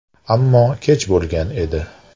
Ammo kech bo‘lgan edi.